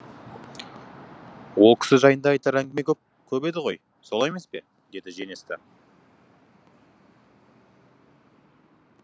ол кісі жайында айтар әңгіме көп еді ғой солай емес пе деді женеста